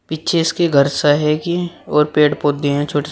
पीछे इसके घर सा है कि और पेड़ पौधे हैं छोटे--